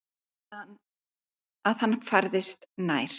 Hún heyrði að hann færðist nær.